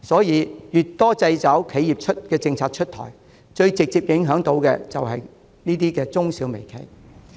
越多掣肘企業的政策出台，首當其衝的反而是中小微企。